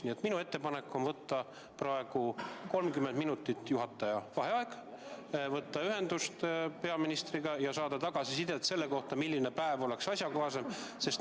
Nii et minu ettepanek on võtta praegu 30 minutit juhataja vaheaega, võtta ühendust peaministriga ja saada tagasisidet selle kohta, milline päev on sobiv.